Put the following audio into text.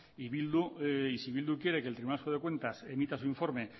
y si eh bildu quiere que el tribunal vasco de cuentas emita su informe